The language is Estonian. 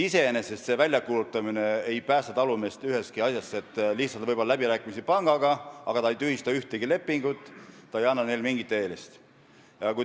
Iseenesest selle väljakuulutamine ei päästa talumeest ühestki asjast, see lihtsustab võib-olla läbirääkimisi pangaga, aga ei tühista ühtegi lepingut, see ei anna mingit eelist.